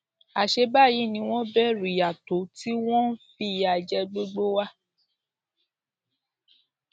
àṣẹ báyìí ni wọn bẹrù ìyà tó tí wọn ń fìyà jẹ gbogbo wa